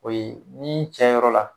O ye ni cɛ yɔrɔ la